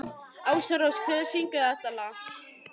Ásrós, hver syngur þetta lag?